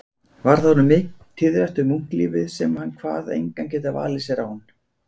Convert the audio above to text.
Varð honum tíðrætt um munklífið sem hann kvað engan geta valið sér án